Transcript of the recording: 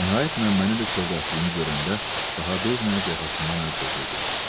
Nəhayət Məmməni də kövrəltdiyini görəndə, daha dözməyib yaxasından əl çəkirdi.